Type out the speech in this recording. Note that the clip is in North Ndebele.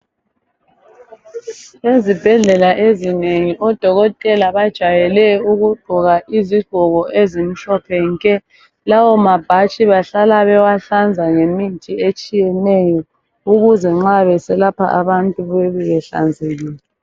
Ezibhedlela ezinengi odokotela bajwayele ukugqoka izigqoko ezimhlophe nke. Lawo mabhatshi bahlala bewahlanza ngemithi etshiyeneyo, ukuze nxa beselapha abantu bebe behlanzekile.